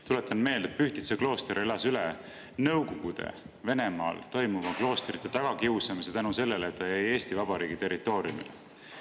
Tuletan meelde, et Pühtitsa klooster elas üle Nõukogude Venemaal toimunud kloostrite tagakiusamise tänu sellele, et ta jäi Eesti Vabariigi territooriumile.